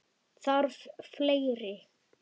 Þarf fleiri?